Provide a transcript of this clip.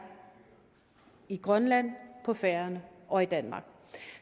i grønland på færøerne og i danmark